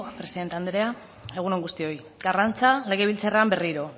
presidente andrea egun on guztioi karrantza legebiltzarrean berriro